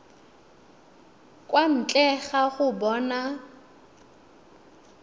kwa ntle ga go bona